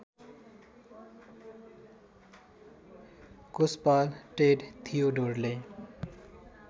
कोषपाल Ted थियोडोरले